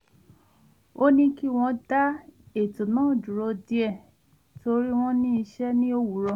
ó ní kí wọ́n dá ètò náà dúró díẹ̀ nítorí wọn ní iṣẹ́ ní òwúrọ̀